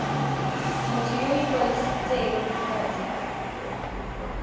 motho yo o ikwadisitseng kgotsa